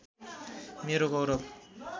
मेरो गौरव